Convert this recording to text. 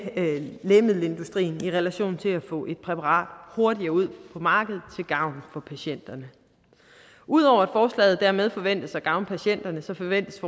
lægemiddelindustrien i relation til at få et præparat hurtigere ud på markedet til gavn for patienterne ud over at forslaget dermed forventes at gavne patienterne forventes